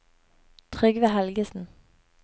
Trygve Helgesen